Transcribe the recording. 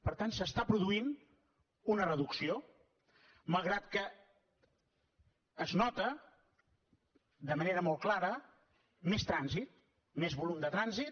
per tant s’està produint una reducció malgrat que es nota de manera molt clara més trànsit més volum de trànsit